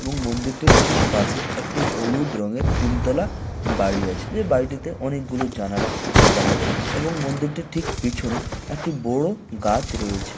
এবং মন্দিরটার ঠিক পাশে একটি হলুদ রঙের তিন তলা বাড়ি আছে। এ বাড়িটিতে অনেকগুলো জানালা দেখা যাচ্ছে এবং মন্দিরটির ঠিক পিছনে একটি বড় গাছ রয়েছে।